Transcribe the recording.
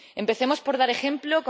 Empecemos por dar ejemplo.